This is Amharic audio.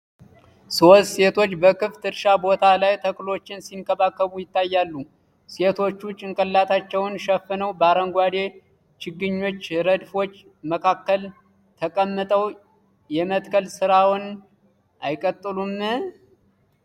ሶስት ሴቶች በክፍት እርሻ ቦታ ላይ ተክሎችን ሲንከባከቡ ይታያሉ፤ ሴቶቹ ጭንቅላታቸውን ሸፍነው በአረንጓዴ ችግኞች ረድፎች መካከል ተቀምጠው የመትከል ስራውን አይቀጥሉም?